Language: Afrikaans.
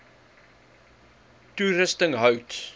toerusting hout